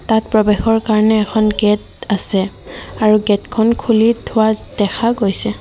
তাত প্ৰৱেশৰ কাৰণে এখন গেট আছে আৰু গেটখন খুলি থোৱা দেখা গৈছে।